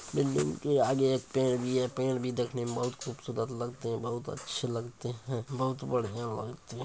Building के आगे एक पेड़ भी है पेड़ भी देखने में बहुत खूबसूरत लगते हैं बहुत अच्छे लगते हैं बहुत बढ़ियां लगते हैं।